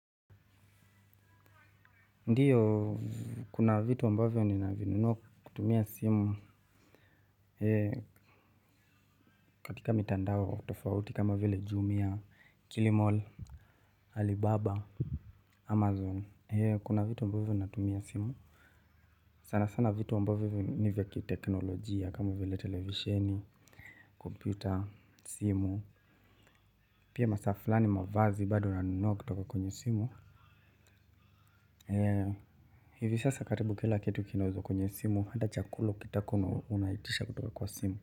Ndiyo kuna vitu ambavyo ninavinunua kutumia simu ee katika mitandao tofauti kama vile jumia kilimalll alibaba amazon ee kuna vitu ambavyo natumia simu sana sana vitu ambavyo ni vya kiteknolojia kama vile televisheni kompyuta simu pia masaa fulani mavazi bado nanunua kutoka kwenye simu ee hivi sasa karibu kila ketu kinauzwa kwenye simu hata chakula ukitaka unaitisha kutoka kwa simu.